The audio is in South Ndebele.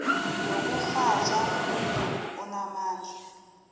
yokurhatjha yomdumo onamandla